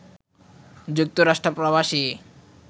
যুক্তরাষ্ট্র প্রবাসী